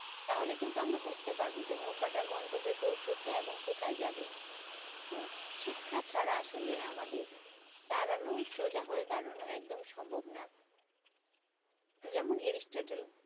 তাহলে কিন্তু আমরা বুছতে পারবো যে নৌকাটা গন্তব্যে পৌঁছেছে এবং কোথায় যাবে শিক্ষা ছাড়া আসলে আমাদের দাঁড়ানো সোজা হয়ে দাঁড়ানো একদম সম্ভব নয় যেমন এরিস্টটল